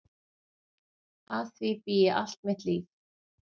Að því bý ég allt mitt líf.